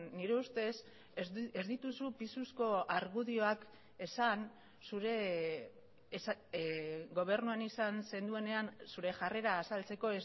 nire ustez ez dituzu pisuzko argudioak esan zure gobernuan izan zenuenean zure jarrera azaltzeko